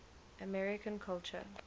american culture